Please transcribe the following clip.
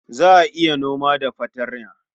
Za a iya noma da fartanya.